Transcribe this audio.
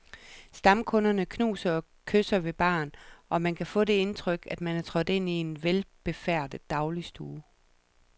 Stamkunderne knuser og kysser ved baren, og man kan få det indtryk, at man er trådt ind i en velbefærdet dagligstue.